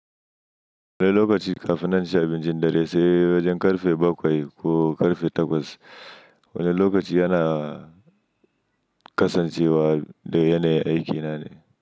Wani lokaci kafin nan chi abincin dare sai wajen ƙarfe bakwai ko ƙarfe takwas. Wani lokaci yana kasancewa da yanayin aikina ne.